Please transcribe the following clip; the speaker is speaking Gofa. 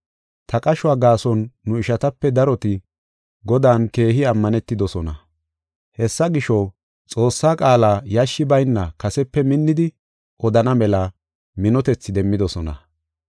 Ta qashuwa gaason nu ishatape daroti Godan keehi ammanetidosona. Hessa gisho, Xoossaa qaala yashshi bayna kasepe minnidi odana mela minotethi demmidosona.